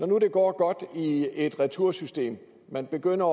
nu går godt i et retursystem man begynder